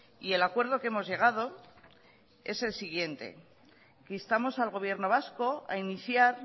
y el acuerdo que hemos llegado es el siguiente instamos al gobierno vasco a iniciar